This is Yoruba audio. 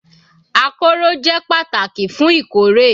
Akọ́rọ́ jẹ́ pàtàkì fún ìkórè